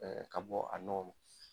Ka bɔ a nɔgɔ